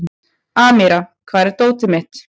Amíra, hvar er dótið mitt?